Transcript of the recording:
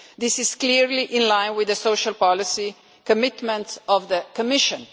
This is clearly in line with the social policy commitments of the Commission.